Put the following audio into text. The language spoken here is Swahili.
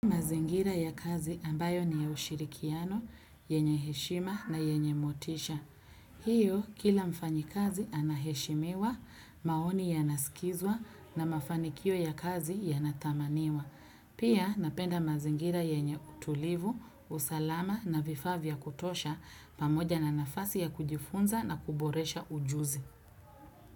Mazingira ya kazi ambayo ni ya ushirikiano, yenye heshima na yenye motisha. Hiyo, kila mfanyi kazi anaheshimiwa, maoni ya nasikizwa na mafanikio ya kazi ya nathamaniwa. Pia, napenda mazingira yenye utulivu, usalama na vifaa vya kutosha pamoja na nafasi ya kujifunza na kuboresha ujuzi.